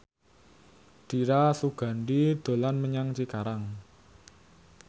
Dira Sugandi dolan menyang Cikarang